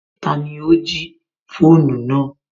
Tani ó jí fóònù náà